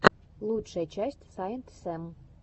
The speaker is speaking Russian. лучшая часть саинтсэм